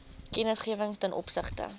kennisgewing ten opsigte